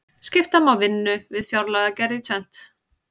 skipta má vinnu við fjárlagagerð í tvennt